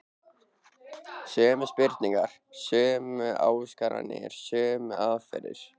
Sömu spurningar, sömu ásakanir, sömu aðferðir.